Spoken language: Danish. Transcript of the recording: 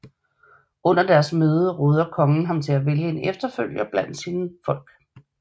Under deres møde råder kongen ham at vælge en efterfølger blandt sine mænd